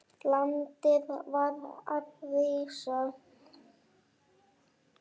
Landið var að rísa.